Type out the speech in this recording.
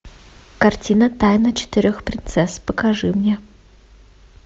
картина тайна четырех принцесс покажи мне